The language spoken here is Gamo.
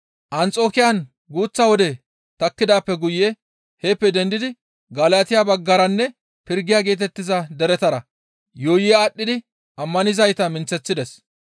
Anxokiyan guuththa wode takkidaappe guye heeppe dendidi Galatiya baggaranne Pirgiya geetettiza deretara yuuyi aadhdhidi ammanizayta minththeththides.